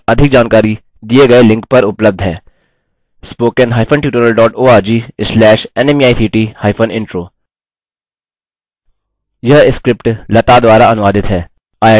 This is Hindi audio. इस mission पर अधिक जानकारी दिए गए लिंक पर उपलब्ध है